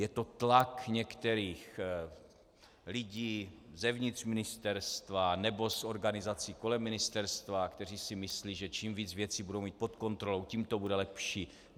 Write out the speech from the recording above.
Je to tlak některých lidí zevnitř ministerstva nebo z organizací kolem ministerstva, kteří si myslí, že čím víc věcí budou mít pod kontrolou, tím to bude lepší.